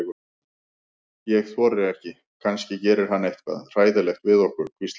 Ég þori ekki, kannski gerir hann eitthvað hræðilegt við okkur. hvíslaði